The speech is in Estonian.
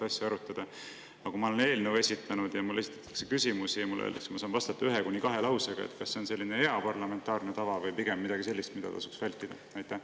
Kas see, kui ma olen esitanud eelnõu ja mulle esitatakse küsimusi, aga mulle öeldakse, et ma saan vastata ühe kuni kahe lausega, on hea parlamentaarne tava või pigem midagi sellist, mida tasuks vältida?